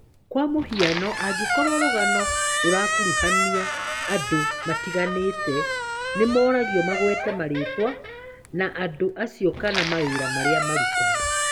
Kwa mũhiano, angĩkorwo rũgano rũrakuruhania andũ matiganĩte, nĩ moragio magwete marĩtwa ma andũ acio kana mawĩra marĩa marutaga.